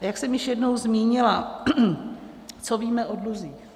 A jak jsem již jednou zmínila, co víme o dluzích.